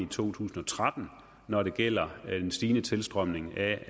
tusind og tretten når det gælder den stigende tilstrømning af